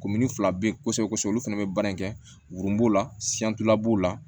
fila bɛ kosɛbɛ kosɛbɛ olu fana bɛ baara in kɛ wo b'o la b'o la